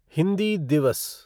हिंदी दिवस